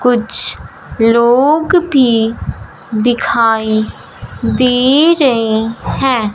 कुछ लोग भी दिखाई दे रहे हैं।